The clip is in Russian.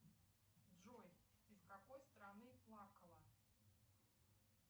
джой из какой страны плакала